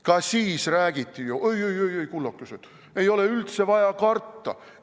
Ka siis räägiti, et oi-oi-oi, kullakesed, ei ole üldse vaja karta.